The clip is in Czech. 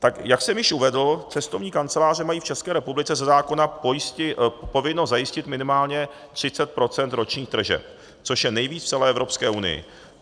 Jak jsem již uvedl, cestovní kanceláře mají v České republice ze zákona povinnost zajistit minimálně 30 % ročních tržeb, což je nejvíc v celé Evropské unii.